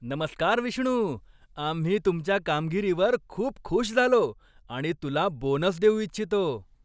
नमस्कार विष्णू, आम्ही तुमच्या कामगिरीवर खूप खूष झालो आणि तुला बोनस देऊ इच्छितो.